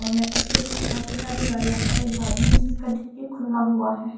और यहां पीछे भी काफी सारी गाड़ियां और एक गाड़ी है जिसका डिक्की खुला हुआ है।